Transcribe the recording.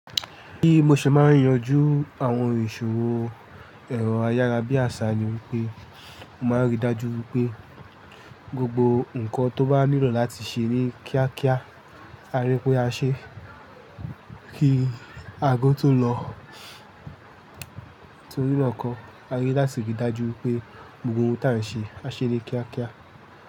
Bí mo ṣe máa ń yanjú àwọn ìṣòro ẹ̀rọ ayára bí àṣá ni wípé, mo máa ń rí i dájú wípé gbogbo ǹkan tó bá nílò láti ṣe ní kíákíá, a rí pé a ṣe. Kí aago tó lọ, torí be kọ̀, a ni láti rí i dájú pé gbogbo ohun tí à ń ṣe, a ṣe ní kíákíá.